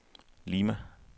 Lima